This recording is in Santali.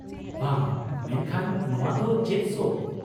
ᱵᱷᱟ ! ᱢᱮᱱᱠᱷᱟᱱ ᱱᱚᱶᱟ ᱫᱚ ᱪᱮᱫ ᱥᱳ ?